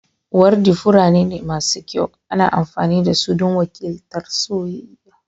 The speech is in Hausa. Wardi furanni ne masu kyau, ana amfani da su don wakiltar soyayya.